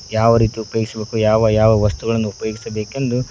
ಯಾವ ರೀತಿ ಉಪಯೋಗಿಸಬೇಕು ಯಾವ ಯಾವ ವಸ್ತುಗಳನ್ನು ಉಪಯೋಗಿಸಬೇಕೆಂದು--